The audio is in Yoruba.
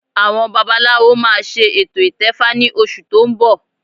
Àwọn babaláwo máa ṣe ètò ìtẹfa ní oṣù tó ń bọ̀